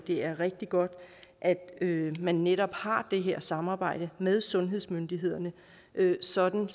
er rigtig godt at man netop har det her samarbejde med sundhedsmyndighederne sådan